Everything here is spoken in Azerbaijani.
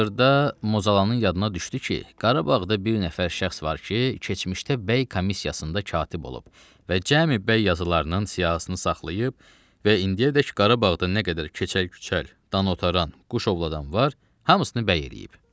Axırda Mozalanın yadına düşdü ki, Qarabağda bir nəfər şəxs var ki, keçmişdə bəy komissiyasında katib olub və cəmi bəy yazılarının siyahısını saxlayıb və indiyədək Qarabağda nə qədər keçəl-küçəl, danovtaran, quşovladan var, hamısını bəy eləyib.